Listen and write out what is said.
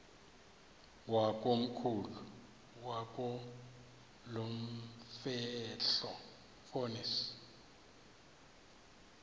wakomkhulu wakulomfetlho fonis